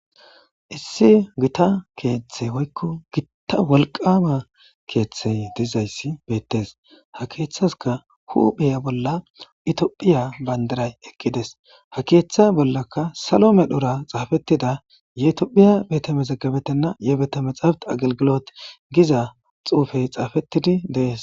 Issi gita keeththey woykko gitta wolqama keeththey diza issi beettes. Ha keeththasika huphiya bolla itophiya bandiray eqqi des. Ha keeththe bollaka salo meran xaafettida yetophiya bete mezege betenna yebete mexaafeti agilgilot giza xuufay xaafettidi dees.